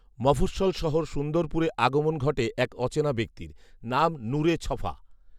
মফঃস্বল শহর সুন্দরপুরে আগমণ ঘটে এক অচেনা ব্যক্তির; নাম নূরে ছফা